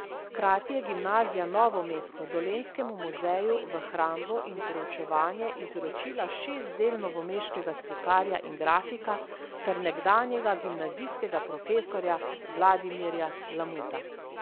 Hkrati je Gimnazija Novo mesto Dolenjskemu muzeju v hrambo in preučevanje izročila šest del novomeškega slikarja in grafika ter nekdanjega gimnazijskega profesorja Vladimirja Lamuta.